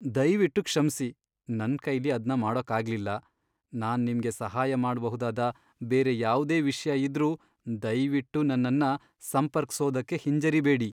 ದಯ್ವಿಟ್ಟು ಕ್ಷಮ್ಸಿ, ನನ್ಕೈಲಿ ಅದ್ನ ಮಾಡೋಕಾಗ್ಲಿಲ್ಲ! ನಾನ್ ನಿಮ್ಗೆ ಸಹಾಯ ಮಾಡ್ಬಹುದಾದ ಬೇರೆ ಯಾವ್ದೇ ವಿಷ್ಯ ಇದ್ರೂ ದಯ್ವಿಟ್ಟು ನನ್ನನ್ನ ಸಂಪರ್ಕ್ಸೋದಕ್ಕೆ ಹಿಂಜರಿಬೇಡಿ.